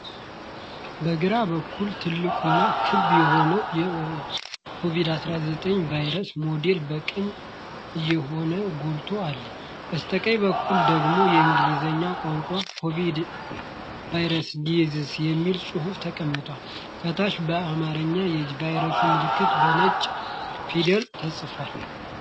በግራ በኩል ትልቁና ክብ የሆነው የኮቪድ-19 ቫይረስ ሞዴል በቀይ እሾሆቹ ጎልቶ አለ። በስተቀኝ በኩል ደግሞ የእንግሊዝኛ ቋንቋ "ኮቪድ-19 ኮሮና ቫይረስ ዲዚዝ" የሚል ጽሑፍ ተቀምጧል። ከታች በአማርኛ የቫይረሱ መልዕክት በነጭ ፊደላት ተጽፏል።